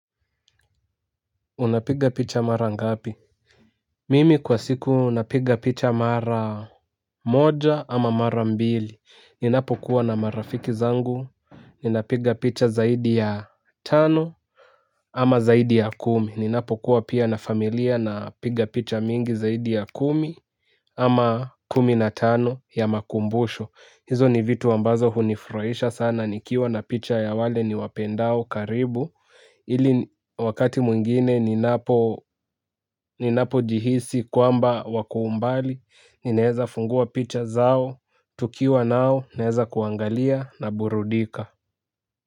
Unapiga picha mara ngapi? Mimi kwa siku napiga picha mara moja ama mara mbili. Ninapo kuwa na marafiki zangu, ninapiga picha zaidi ya tano ama zaidi ya kumi. Ninapo kuwa pia na familia napiga picha mingi zaidi ya kumi ama kumi na tano ya makumbusho. Hizo ni vitu ambazo hunifuraisha sana, nikiwa na picha ya wale ni wapendao karibu. Ili wakati mwingine ninapo jihisi kwamba wakoumbali, ninaeza funguwa picha zao, tukiwa nao, ninaeza kuangalia na burudika.